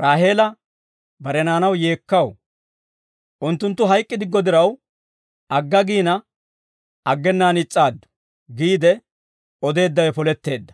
Raaheela bare naanaw yeekkaw. Unttunttu hayk'k'idiggo diraw, agga giina, aggenaan is's'aaddu» giide odeeddawe poletteedda.